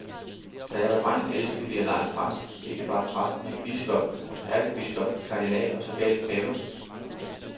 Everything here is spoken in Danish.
Da jeg var dreng elskede vi at lege præst, ikke bare præst, men biskop, ærkebiskop, kardinal og sågalt pave.